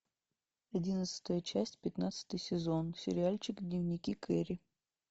одиннадцатая часть пятнадцатый сезон сериальчик дневники кэрри